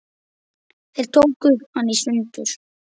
Þeir tóku hana í sundur.